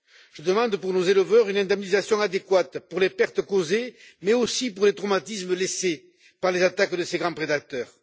Je demande pour nos éleveurs une indemnisation adéquate pour les pertes causées, mais aussi pour les traumatismes laissés par les attaques de ces grands prédateurs.